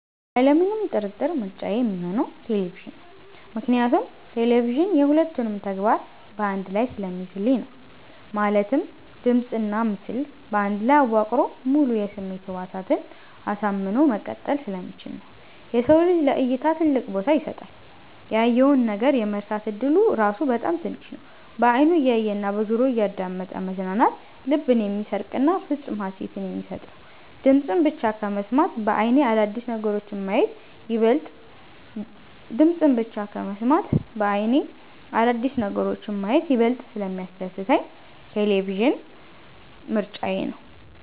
ያለምንም ጥርጥር ምርጫዬ ሚሆነው ቴሌቪዥን ነው። ምክንያቱም ቴሌቪዥን የ ሁለቱንም ተግባር በ አንድ ላይ ስለሚይዝልኝ ነው። ማለትም ድምጽና ምስል በአንድ ላይ አዋቅሮ ሙሉ የስሜት ህዋሳትን አሳምኖ መቀጠል ስለሚችል ነው። የሰው ልጅ ለ እይታ ትልቅ ቦታ ይሰጣል። ያየውን ነገር የመርሳት እድሉ ራሱ በጣም ትንሽ ነው። በ አይኑ እያየ እና በጆሮው እያዳመጠ መዝናናት ልብን የሚሰርቅና ፍፁም ሃሴትን የሚሰጥ ነው። ድምፅን ብቻ ከመስማት በ አይኔ አዳዲስ ነገሮችን ማየት ይበልጥ ስለሚያስደስተኝ ቴሌቪዥን ምርጫዬ ነው።